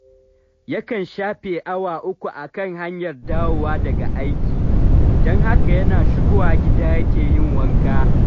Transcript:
Yakan shafe awa uku a kan hanyar dawowa daga aiki, don haka yana shigowa gida yake yin wanka